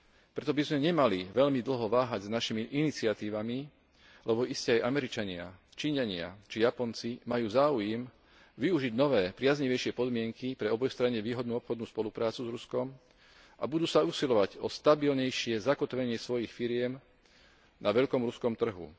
Preto by sme nemali veľmi dlho váhať s našimi iniciatívami, lebo iste aj Američania, Číňania či Japonci majú záujem využiť nové priaznivejšie podmienky pre obojstranne výhodnú obchodnú spoluprácu s Ruskom a budú sa usilovať o stabilnejšie zakotvenie svojich firiem na veľkom ruskom trhu.